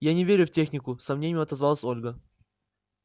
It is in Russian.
я не верю в технику с сомнением отозвалась ольга